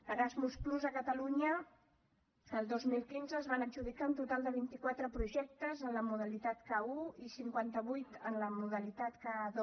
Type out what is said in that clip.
erasmus+ a catalunya el dos mil quinze es van adjudicar un total de vint i quatre projectes en la modalitat ka1 i cinquanta vuit en la modalitat ka2